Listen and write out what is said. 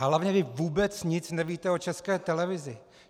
A hlavně vy vůbec nic nevíte o České televizi.